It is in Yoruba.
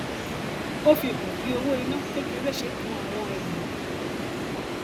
ó fi hàn bí owó iná kékeré ṣe kàn àwọn ènìyàn